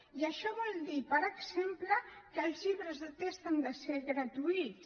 i això vol dir per exemple que els llibres de text han de ser gratuïts